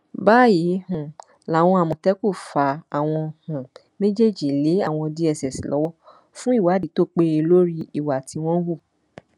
báyìí um làwọn àmọtẹkùn fa àwọn um méjèèjì lé àwọn dss lọwọ fún ìwádìí tó péye lórí ìwà tí wọn hù